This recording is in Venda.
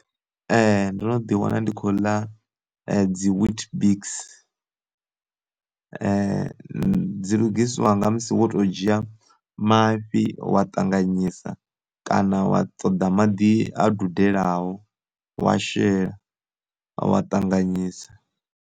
Ndo no ḓi wana ndi khou ḽa dzi wheat biks, dzi dzi lugiswa nga musi wo to dzhia mafhi wa ṱanganyisa kana wa ṱoḓa maḓi a dudelaho wa shela wa ṱanganyisa.